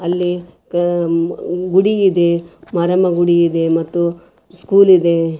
ಅಲ್ಲಿ ಪಾಮ್ ಗುಡಿಯಿದೆ ಮಾರಮ್ಮ ಗುಡಿ ಇದೆ ಮತ್ತು ಸ್ಕೂಲ್ ಇದೆ.